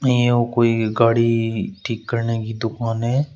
य्वु कोई गाड़ी ठीक करने की दुकान है।